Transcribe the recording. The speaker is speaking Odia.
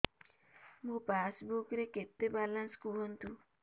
ମୋ ପାସବୁକ୍ ରେ କେତେ ବାଲାନ୍ସ କୁହନ୍ତୁ